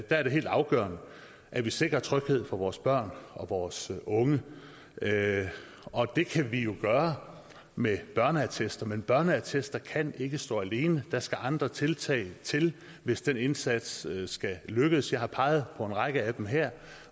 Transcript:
er det helt afgørende at vi sikrer tryghed for vores børn og vores unge og det kan vi jo gøre med børneattester men børneattester kan ikke stå alene der skal andre tiltag til hvis den indsats skal lykkes jeg har peget på en række af dem her